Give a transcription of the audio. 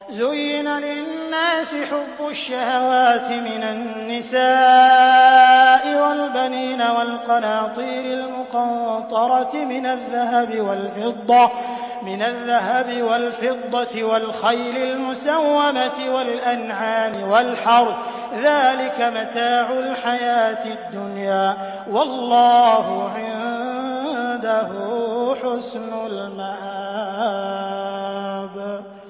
زُيِّنَ لِلنَّاسِ حُبُّ الشَّهَوَاتِ مِنَ النِّسَاءِ وَالْبَنِينَ وَالْقَنَاطِيرِ الْمُقَنطَرَةِ مِنَ الذَّهَبِ وَالْفِضَّةِ وَالْخَيْلِ الْمُسَوَّمَةِ وَالْأَنْعَامِ وَالْحَرْثِ ۗ ذَٰلِكَ مَتَاعُ الْحَيَاةِ الدُّنْيَا ۖ وَاللَّهُ عِندَهُ حُسْنُ الْمَآبِ